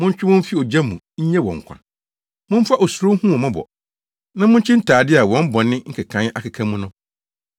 Montwe wɔn mfi ogya mu nnye wɔn nkwa. Momfa osuro nhu wɔn mmɔbɔ, na munkyi ntade a wɔn bɔne nkekae akeka mu no.